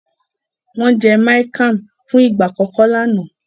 Wọn jé miang Kham fún ìgbà àkókò lànà.